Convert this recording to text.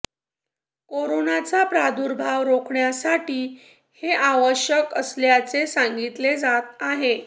कोरोनाचा प्रादुर्भाव रोखण्यासाठी हे आवश्यक असल्याचे सांगितले जात आहे